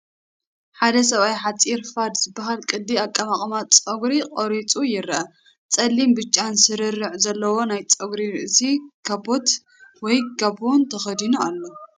ሓደ ሰብኣይ ሓጺር ፋድ ዝባሃል ቅዲ ኣቀማቕማ ጸጉሩ ቆሪጹ ይረአ። ጸሊምን ብጫን ስርርዕ ዘለዎ ናይ ጸጉሪ ርእሲ ካቦት ወይ ጋቦን ተኸዲኑ ኣሎ።